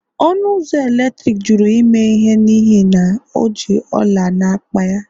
ọnụ ụzọ eletrik jụrụ imeghe n'ihi na o ji ọla n'akpa ya